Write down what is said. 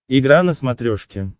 игра на смотрешке